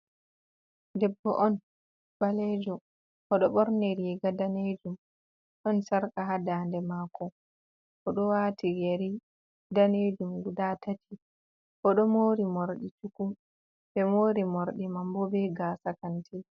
Debbo on balejo o do borni riga danejum ɗon sarka ha dande mako odo wati yeri danejum guda tati o do mori mordi cukum, be mori mordi mambo be gasa kanti.